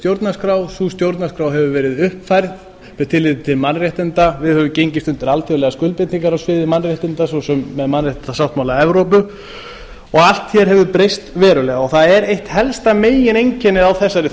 lýðveldisstjórnarskrá sú stjórnarskrá hefur verið uppfærð með tilliti til mannréttinda við höfum gengist undir alþjóðlegar skuldbindingar á sviði mannréttinda svo sem með mannréttindasáttmála evrópu og allt hér hefur breyst verulega það er eitt helsta megineinkennið á þessari